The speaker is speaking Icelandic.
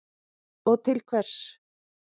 Og til hvers?